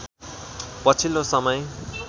पछिल्लो समय